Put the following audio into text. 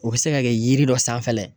O bɛ se ka kɛ yiri dɔ sanfɛ la ye.